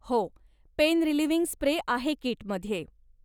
हो, pain relieving spray आहे कीटमध्ये.